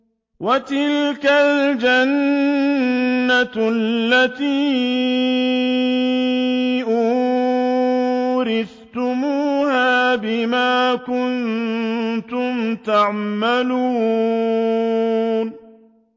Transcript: وَتِلْكَ الْجَنَّةُ الَّتِي أُورِثْتُمُوهَا بِمَا كُنتُمْ تَعْمَلُونَ